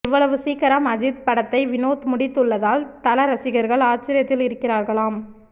இவ்வளவு சீக்கிரம் அஜித் படத்தை வினோத் முடித்துள்ளதால் தல ரசிகர்கள் ஆச்சரியத்தில் இருக்கிறார்களாம்